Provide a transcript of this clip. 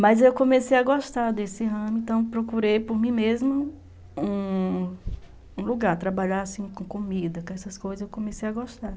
Mas eu comecei a gostar desse ramo, então procurei por mim mesma um um lugar, trabalhar assim com comida, com essas coisas, eu comecei a gostar.